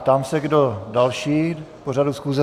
Ptám se, kdo další k pořadu schůze.